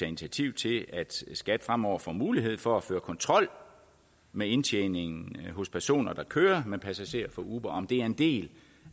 initiativ til at skat fremover får mulighed for at føre kontrol med indtjeningen hos personer der kører med passagerer for uber om det er en del